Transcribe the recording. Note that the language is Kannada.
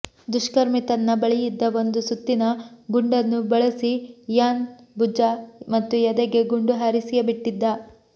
ದುಷ್ಕರ್ಮಿ ತನ್ನ ಬಳಿಯಿದ್ದ ಒಂದು ಸುತ್ತಿನ ಗುಂಡನ್ನು ಬಳಸಿ ಇಯಾನ್ ಭುಜ ಮತ್ತು ಎದೆಗೆ ಗುಂಡು ಹಾರಿಸಿಯೇ ಬಿಟ್ಟಿದ್ದ